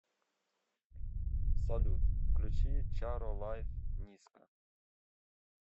салют включи чаро лайф ниска